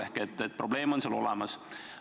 Ehk probleem on olemas.